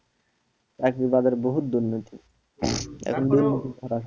চাকরির বাজারে বহুত দুর্নীতি